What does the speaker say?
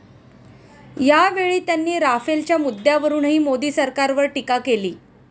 यावेळी त्यांनी राफेलच्या मुद्द्यावरूनही मोदी सरकारवर टीका केली.